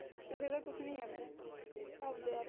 ਕਿਸੇ ਦਾ ਕੁਛ ਨਈ ਜਾਂਦਾ ਆਪ ਦੇ ਆਪ